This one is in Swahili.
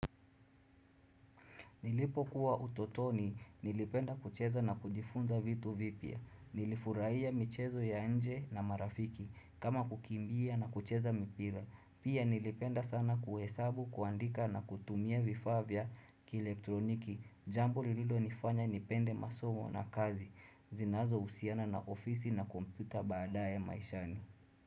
Nilipo kuwa utotoni, nilipenda kucheza na kujifunza vitu vipya. Nilifurahia michezo ya nje na marafiki kama kukimbia na kucheza mpira. Pia nilipenda sana kuhesabu, kuandika na kutumia vifaa vya kielektroniki. Jambo lililo nifanya nipende masomo na kazi. Zinazo husiana na ofisi na kompyuta baadaye maishani.